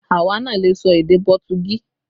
Àwa náà lè sọ èdè Pọtugí